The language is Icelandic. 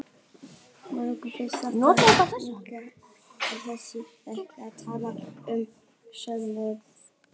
Mörgum finnst þetta skrýtið orðalag, sérstaklega þegar talað er um skort á hæfileikum.